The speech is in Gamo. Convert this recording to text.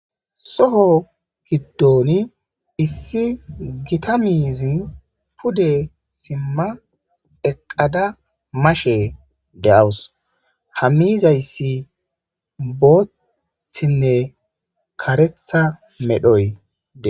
Soho giddon issi Gita miizy pude sima eqada mashe de'awusi. Ha miizaysi bothinne karetha medhoy Des.